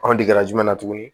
Anw digira jumɛn na tuguni